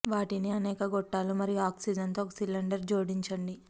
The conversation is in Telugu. వాటిని అనేక గొట్టాలు మరియు ఆక్సిజన్ తో ఒక సిలిండర్ జోడించండి